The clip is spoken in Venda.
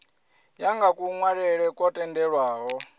ya nga kunwalele kwo tendelwaho